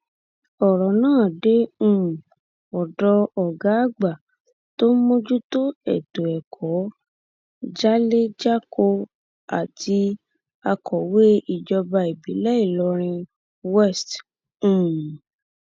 ọrọ náà dé um ọdọ ọgá àgbà tó ń mójútó ètò ẹkọ jálẹjákọ àti akọwé ìjọba ìbílẹ ìlọrin west um